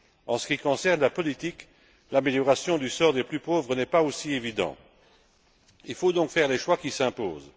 En ce qui concerne la politique, l'amélioration du sort des plus pauvres n'est pas aussi évidente. Il faut donc faire les choix qui s'imposent.